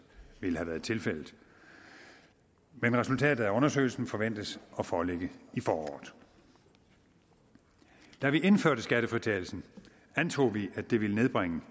ville have været tilfældet men resultatet af undersøgelsen forventes at foreligge i foråret da vi indførte skattefritagelsen antog vi at det ville nedbringe